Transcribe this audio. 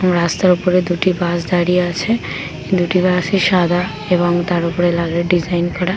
ও রাস্তার ওপরে দুটি বাস দাঁড়িয়ে আছে দুটি বাস ই সাদা এবং তার ওপরে লাগের ডিজাইন করা। .